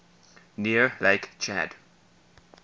near lake chad